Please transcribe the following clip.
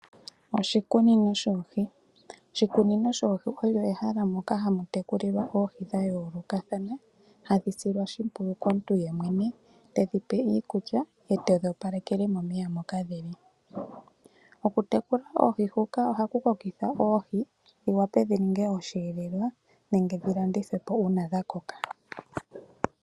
Oshikunino shOohi, oshikunin shoohi olyo ehala moka hamu tekulilwa Oohi dha yoolokathana, hadhi silwa oshimpwiyu komuntu yemwene tedhi pe iikulya ye tedhi opalekele momeya moka dhili. Oku tekula Oohi dhoka ohaku kokitha oohi dhi wape dhi ninge osheelelwa nenge dhi landithwepo uuna dha koka.